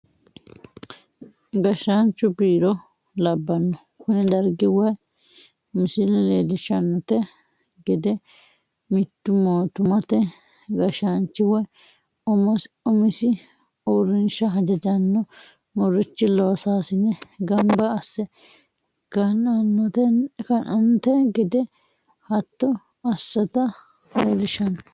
Gashaanchu biiro labano, kuni darigi woyi misile leellishanonte gede mitu mootummatr gashanchi woyi umisi uurinsha hajajano murichi loosasine gamba asse keenanonite gede hato assata leelishano